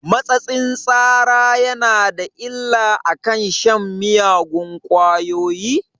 Matsatsin tsara yana da illa akan shan miyagun ƙwayoyi?